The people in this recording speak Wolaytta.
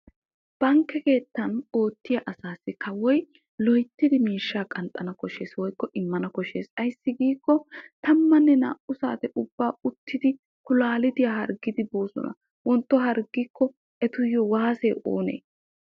Bankke keettan oottiya asaasi kawoy miishsha loyttiddi qanxxanna koshees ayssi giikko galassa muliya uttiddi kilahuwa hargganna danddayosonna.